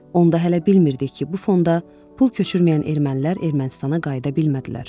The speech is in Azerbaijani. Onda hələ bilmirdik ki, bu fonda pul köçürməyən ermənilər Ermənistana qayıda bilmədilər.